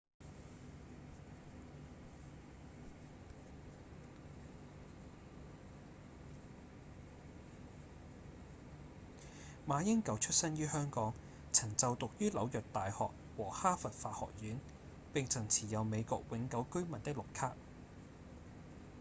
馬英九出生於香港曾就讀於紐約大學和哈佛法學院並曾持有美國永久居民的「綠卡」